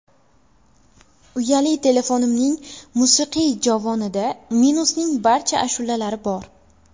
Uyali telefonimning musiqiy jovonida Munisning barcha ashulalari bor.